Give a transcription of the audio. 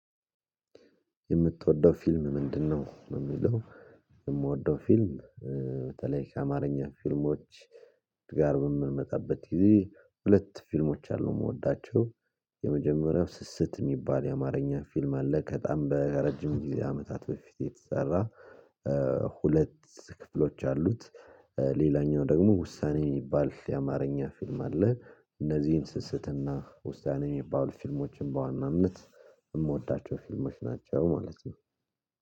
የምትወደው ፊልም ምንድነው? የሚለው የምወደው ፊልም በተለይ ከአማርኛ ፊልሞች ጋር በምንመጣበት ጊዜ ሁለት ፊልሞች አሉ የምወዳቸው። የመጀመሪያው ስስት የሚባል የአማርኛ ፊልም አለ ከጣም በረጅም ጊዜ አመታት በፊት የተሰራ ሁለት ክፍሎች አሉት። ሌላኛው ደግሞ ውሳኔ የሚባል የአማርኛ ፊልም አለ እነዚህን ስስትና ውሳኔ የሚባሉ ፊልሞችን በዋና ነት የምወዳቸው ፊልሞች ናቸው ማለት ነው።